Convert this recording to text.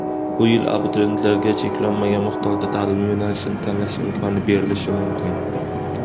Bu yil abituriyentlarga cheklanmagan miqdorda ta’lim yo‘nalishini tanlash imkoni berilishi mumkin.